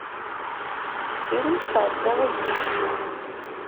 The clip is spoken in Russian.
фильм царь заводи